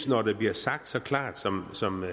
når det bliver sagt så klart som som